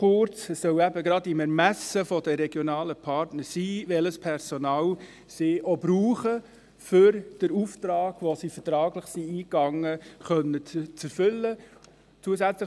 Kurz: Es soll eben gerade im Ermessen der regionalen Partner sein, welches Personal sie auch brauchen, um den Auftrag, den sie vertraglich eingegangen sind, erfüllen zu können.